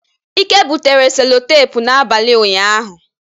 Ike butere selotepụ n'abalị ụnyaahụ.